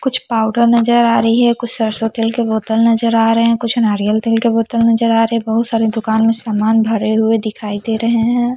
कुछ पावडर नजर आ रही है कुछ सरसो तेल के बोतल नजर आ रहे है कुछ नारियल तेल के बोतल नजर आ रहे है बहोत सारे दुकान में सामान भरे हुए दिखाई दे रहे है।